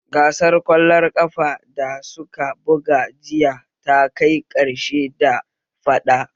Gasar ƙwallon ƙafar da suka buga jiya ta kai ƙarshe da faɗa